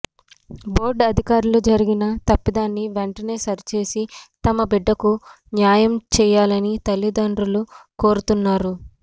board అధికారులు జరిగిన తప్పిదాన్ని వెంటనే సరిచేసి తమ బిడ్డకు న్యాయం చేయాలని తల్లిదండ్రులు కోరుతున్నారు